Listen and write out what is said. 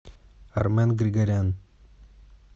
армен григорян